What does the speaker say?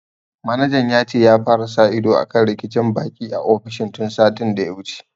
Manajan ya ce ya fara sa ido akan rikicin baƙi a ofishin tun satin da ya wuce